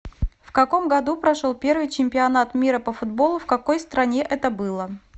в каком году прошел первый чемпионат мира по футболу в какой стране это было